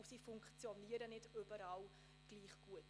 Zudem funktionieren sie nicht überall gleich gut.